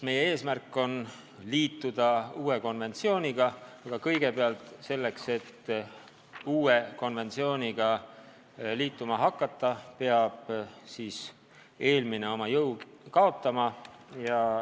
Meie eesmärk on liituda uue konventsiooniga, aga selleks, et uue konventsiooniga liituma hakata, peab eelmine oma jõu kaotama.